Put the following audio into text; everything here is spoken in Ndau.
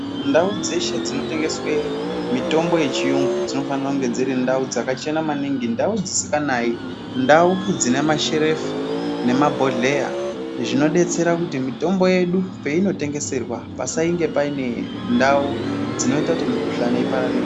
Ndau dzeshe dzinotengesa mitombo yechiyungu dzinofana kunge ndau dzakachena maningi, ndau dzisinganayi, ndau dzinemasherefu nemabhodhleya. Izvi zvinodetsera kuti mitombo yedu peinotengeserwa pasange paine ndau dzinoita kuti mikhuhlane ipararire.